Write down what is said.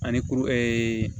Ani kuru ɛɛ